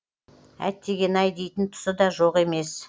әттеген ай дейтін тұсы да жоқ емес